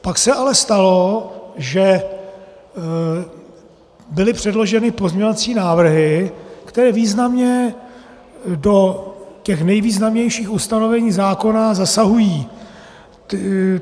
Pak se ale stalo, že byly předloženy pozměňovací návrhy, které významně do těch nejvýznamnějších ustanovení zákona zasahují.